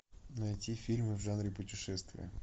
найти фильмы в жанре путешествия